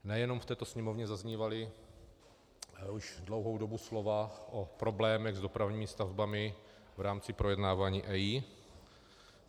Nejenom v této sněmovně zaznívala už dlouhou dobu slova o problémech s dopravními stavbami v rámci projednávání EIA.